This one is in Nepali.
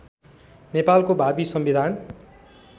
नेपालको भावी संविधान